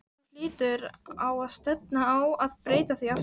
Þú hlýtur á að stefna á að breyta því aftur?